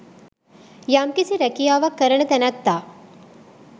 යම්කිසි රැකියාවක් කරන තැනැත්තා